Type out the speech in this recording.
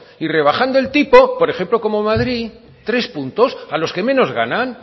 y rebajando el tipo por ejemplo como madrid tres puntos a los que menos ganan